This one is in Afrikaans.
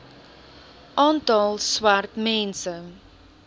aantal swart mense